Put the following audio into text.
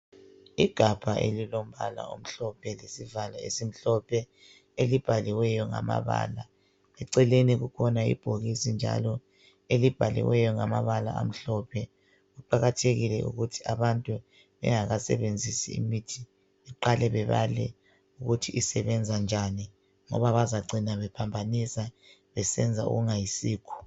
Igabha elilombala omhlophe, lesivalo esimhlophe. elibhaliweyo ngamabala. Eceleni kukhona ibhokisi njalo, elibhaliweyo, ngamabala amhlophe. Kuqakathekile ukuthi abantu bengakasebenzisi imithi, beqale bebale, ukuthi isebenza njani, ngoba bayacina bephambanisa. Besenza okungayisikho.